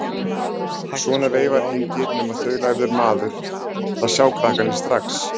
Svona veifar enginn nema þaulæfður maður, það sjá krakkarnir strax.